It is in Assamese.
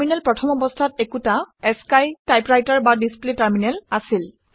টাৰমিনেল প্ৰথম অৱস্থাত একোটা আশ্চিই টাইপৰাইটাৰ বা ডিচপ্লে টাৰমিনেল আছিল